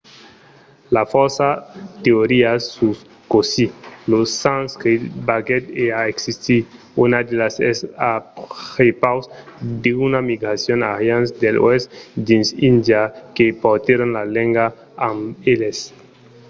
i a fòrça teorias sus cossí lo sanscrit venguèt a existir. una d'elas es a prepaus d'una migracion d'arians de l'oèst dins índia que portèron lor lenga amb eles